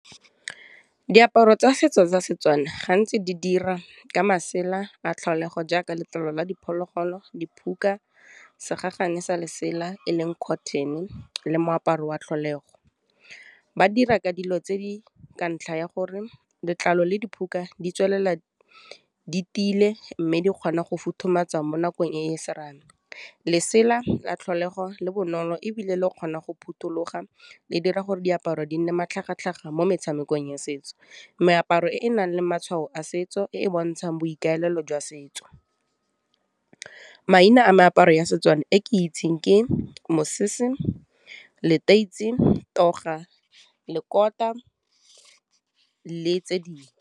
Diaparo tsa setso tsa setswana gantsi di dira ka masela a tlholego jaaka letlalo la diphologolo, diphuka, segagane sa lesela eleng cotton le moaparo wa tlholego. Ba dira ka dilo tse di ka ntlha ya gore letlalo le diphuka di tiile mme di kgona go futhumatsa mo nakong e e serame, lesela la tlholego le bonolo ebile le kgona go phuthuloga, le dira gore diaparo di nne matlhagatlhaga mo metshamekong ya setso. Meaparo e e nang le matshwao a setso e e bontshang boikaelelo jwa setso, maina a meaparo ya setswana e ke itseng ke mosese, leteisi, toga, lekota le tse dingwe.